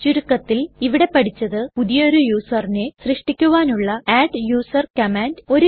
ചുരുക്കത്തിൽ ഇവിടെ പഠിച്ചത് പുതിയൊരു userനെ സൃഷ്ടിക്കുവാനുള്ള അഡ്ഡൂസർ കമാൻഡ്